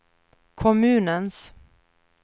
kommunens